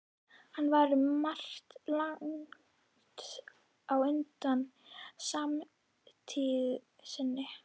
Hann var um margt langt á undan samtíð sinni.